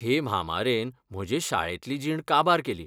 हे म्हाहामारेन म्हजे शाऴेंतली जीण काबार केली.